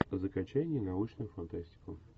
закачай ненаучную фантастику